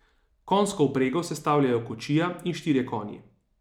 Konjsko vprego sestavljajo kočija in štirje konji.